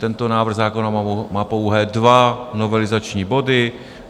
Tento návrh zákona má pouhé dva novelizační body.